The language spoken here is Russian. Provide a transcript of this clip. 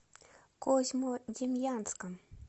козьмодемьянском